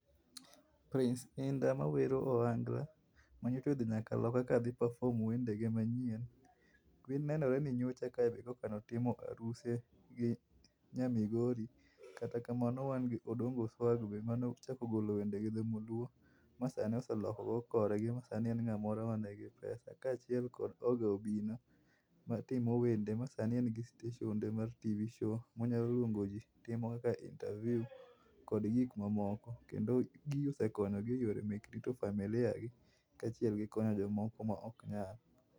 Prince Indah mawero ohangla manyicha odhi nyaka loka kodhi perform wendene manyien, ne waneno nyocha ka koka otimo aruse gi nya Migori. Kata kamano wan gi Odongo Swagg be mane ochako golo wende gi dholuo masani oseloko korgi masani en ngamoro manigi pesa kachiel gi Oga Obinna matimo wende masani en gi stechende ma TV show monyalo luongo jii timo interview kod gik mamoko. kendo gigi osekonyogi rito familia gi kod konyo jomoko maok nyal